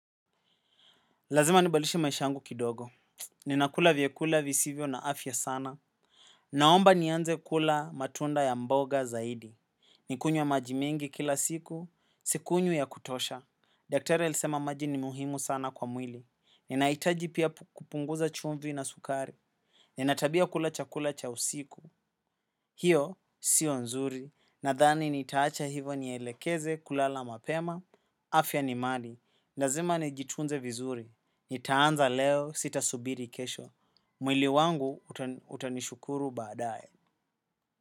Lazima nibadilishishe maish yangu kidogo. Ninakula vyakula visivyo na afya sana. Naomba nianze kula matunda ya mboga zaidi. Nikunywe maji mengi kila siku. Sikunywi ya kutosha. Daktari alisema maji ni muhimu sana kwa mwili. Ninahitaji pia kupunguza chumvi na sukari. Ninatabia ya kula chakula cha usiku. Hio, sio nzuri. Nadhani nitaacha hivo nielekeze kulala mapema. Afya ni mali. Lazima nijitunze vizuri. Nitaanza leo sitasubiri kesho. Mwili wangu utanishukuru baadae.